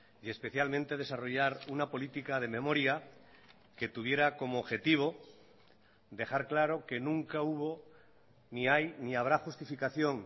y especialmente desarrollar una política de memoria que tuviera como objetivo dejar claro que nunca hubo ni hay ni habrá justificación